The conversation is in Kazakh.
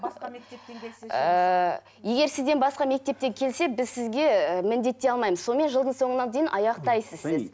басқа мектептен келсе ше ыыы егер сізден басқа мектептен келсе біз сізге і міндеттей алмаймыз сонымен жылдың соңына дейін аяқтайсыз